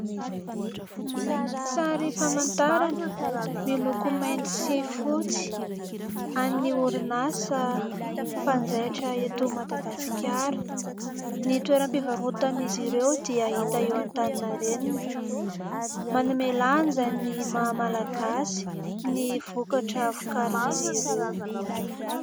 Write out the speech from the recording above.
Sary famantarana miloko mainty sy fotsy an'ny orinasa mpanjaitra eto Madagasikara. Ny toeram-pivarotan'izy ireo dia hita eo Antaninarenina, manome lanja ny maha Malagasy ny vokatra vokarin'izy ireo.